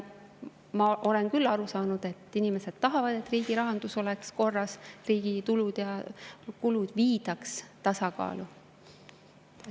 Ma olen küll aru saanud, et inimesed tahavad, et riigi rahandus oleks korras, et riigi tulud ja kulud viidaks tasakaalu.